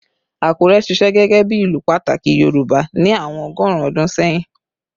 Akure ṣiṣẹ gẹgẹbi ilu pataki Yorùbá ni awọn ọgọrun ọdun sẹhin